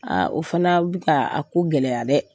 o fana bi ka a ko gɛlɛya dɛ.